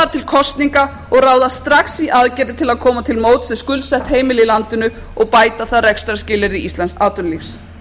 kosninga og ráðast strax í aðgerðir til að koma til móts við skuldsett heimili í landinu og bæta þarf rekstrarskilyrði íslensks atvinnulífs